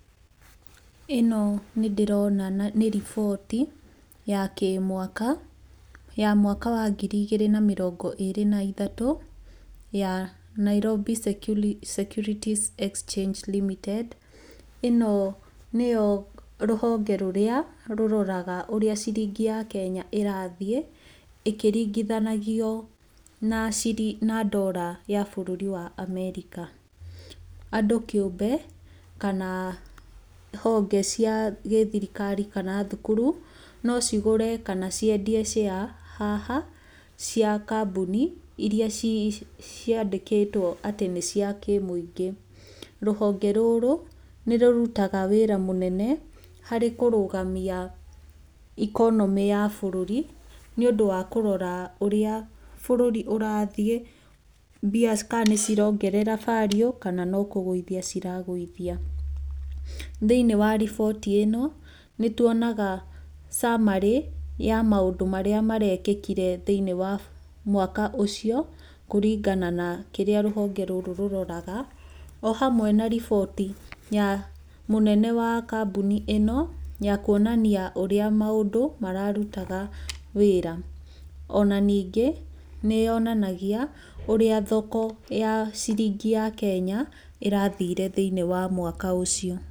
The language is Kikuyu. Ĩno nĩ ndĩrona nĩ riboti ya kĩmwaka ya mwaka wa ngiri igĩrĩ na mĩrongo ĩrĩ na ithatũ ya Nairobi Security Exchange Limited. Ĩno nĩyo rũhonge rũrĩa rũroraga ũrĩa ciringi ya Kenya ĩrathiĩ ĩkĩringithanagio na Dollar ya bũrũri wa America. Andũ kĩũmbe kana honge cia gĩthirikari kana thukuru no cigũre kana ciendie share haha cia kambuni iria ciandĩkĩtwo atĩ nĩ cia kĩmũingĩ. Rũhonge rũrũ nĩ rũrutaga wĩra mũnene harĩ kũrũgamia economy ya bũrũri nĩ ũndũ wa kũrora ũrĩa bũrũri ũrathiĩ, mbia kana nĩcirongerera value kana no kũgũithia ciragũithia. Thĩiniĩ wa riboti ĩno nĩtuonaga summary ya maũndũ marĩa marekekire thĩinĩ wa mwaka ũcio kũringana na kĩrĩa rũhonge rũrũ rũroraga, ohamwe na riboti ya mũnene wa kambuni ĩno ya kũonania ũrĩa maũndũ mararutaga wĩra, ona ningĩ nĩyonanagia ũrĩa thoko ya ciringi ya Kenya ĩrathire thĩiniĩ wa mwaka ũcio.